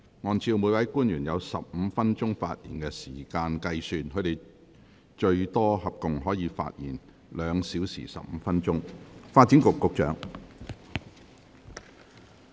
按照每位官員有15分鐘發言時間計算，他們合共可發言最多2小時15分鐘。